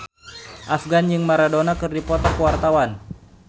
Afgan jeung Maradona keur dipoto ku wartawan